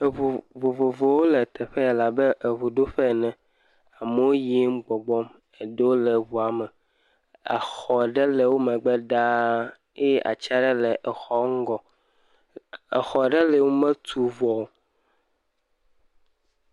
Eŋu vovovowo le teƒe ya la be eŋuɖoƒe ene. Amewo yim gbɔgbɔm. Eɖewo le ŋua me. Exɔ ɖe le wo megbe ɖa eye ati aɖe le wo ŋgɔ. Exɔ ɖe li wometu vɔ o.